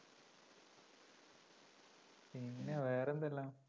പിന്നെ വേറെന്താ ഉള്ള?